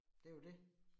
Det jo det